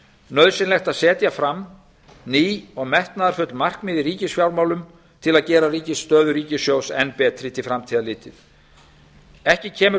nauðsynlegt að setja fram ný og metnaðarfull markmið í ríkisfjármálum til að gera stöðu ríkissjóðs enn betri til framtíðar litið ekki kemur